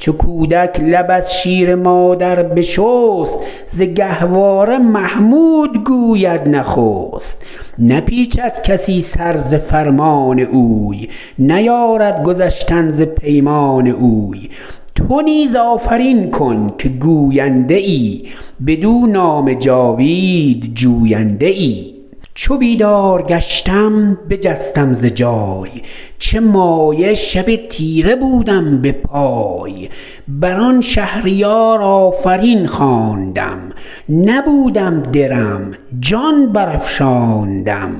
چو کودک لب از شیر مادر بشست ز گهواره محمود گوید نخست نپیچد کسی سر ز فرمان اوی نیارد گذشتن ز پیمان اوی تو نیز آفرین کن که گوینده ای بدو نام جاوید جوینده ای چو بیدار گشتم بجستم ز جای چه مایه شب تیره بودم به پای بر آن شهریار آفرین خواندم نبودم درم جان بر افشاندم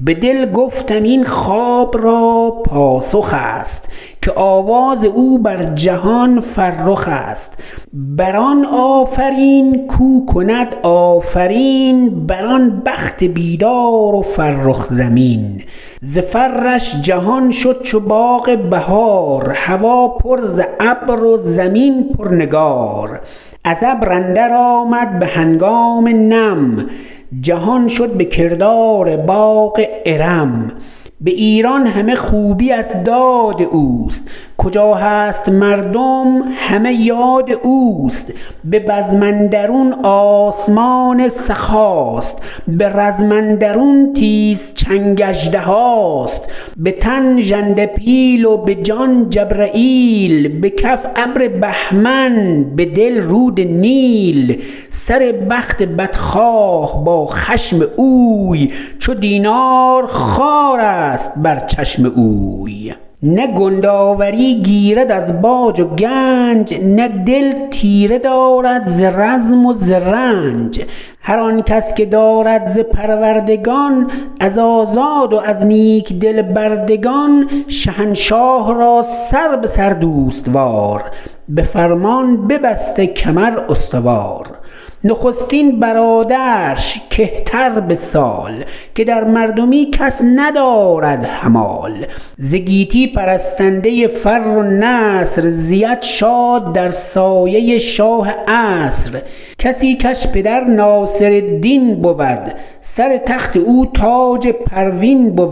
به دل گفتم این خواب را پاسخ است که آواز او بر جهان فرخ است بر آن آفرین کو کند آفرین بر آن بخت بیدار و فرخ زمین ز فرش جهان شد چو باغ بهار هوا پر ز ابر و زمین پر نگار از ابر اندر آمد به هنگام نم جهان شد به کردار باغ ارم به ایران همه خوبی از داد اوست کجا هست مردم همه یاد اوست به بزم اندرون آسمان سخاست به رزم اندرون تیز چنگ اژدهاست به تن ژنده پیل و به جان جبرییل به کف ابر بهمن به دل رود نیل سر بخت بدخواه با خشم اوی چو دینار خوارست بر چشم اوی نه کند آوری گیرد از باج و گنج نه دل تیره دارد ز رزم و ز رنج هر آن کس که دارد ز پروردگان از آزاد و از نیک دل بردگان شهنشاه را سر به سر دوست وار به فرمان ببسته کمر استوار نخستین برادرش که تر به سال که در مردمی کس ندارد همال ز گیتی پرستنده فر و نصر زید شاد در سایه شاه عصر کسی کش پدر ناصرالدین بود سر تخت او تاج پروین بود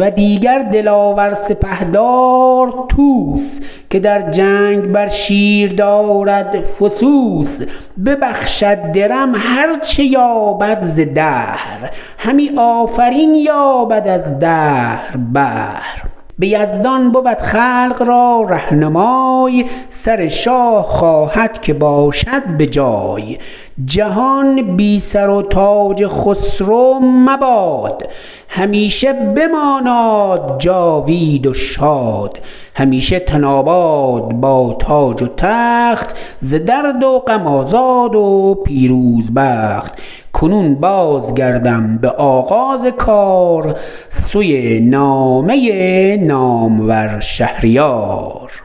و دیگر دلاور سپهدار طوس که در جنگ بر شیر دارد فسوس ببخشد درم هر چه یابد ز دهر همی آفرین یابد از دهر بهر به یزدان بود خلق را رهنمای سر شاه خواهد که باشد به جای جهان بی سر و تاج خسرو مباد همیشه بماناد جاوید و شاد همیشه تن آباد با تاج و تخت ز درد و غم آزاد و پیروز بخت کنون باز گردم به آغاز کار سوی نامه نامور شهریار